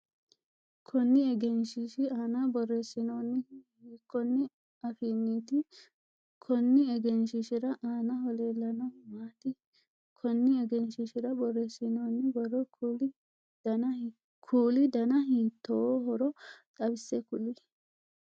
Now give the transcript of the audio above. Konni egenshiishi aanna boreesinoonnihu hiikonn afiinniti? Konni egenshishira aannaho leelanohu maati? Konni egenshiishira boreesinooonni boro kuuli danni hiittoohoro xawise kuli?